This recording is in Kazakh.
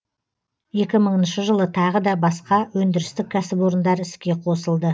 екі мыңыншы жылы тағы да басқа өндірістік кәсіпорындар іске қосылды